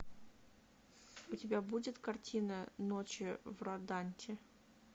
у тебя будет картина ночи в роданте